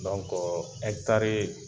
Dɔnko ɛkitari